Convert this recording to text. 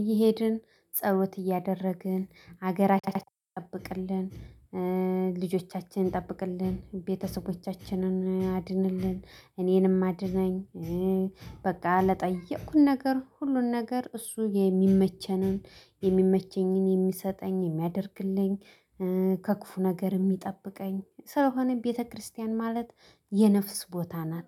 እየሄድን ጸሎት እያደረግን ሀገራችንን ጠብቅልን ልጆቻችንን ጠብቅልን፣ ቤተሰቦቻችንን አድንልን፣ እኔንም አድነኝ፣ በቃ ለጠየኩት ነገር ሁሉን ነገር እሱ የሚመቸንን የሚመቸኝን የሚሰጠኝ የሚያደርግልኝ ከክፉ ነገር የሚጠብቀኝ ስለሆነ ቤተክርስቲያን ማለት የነፍስ ቦታ ናት።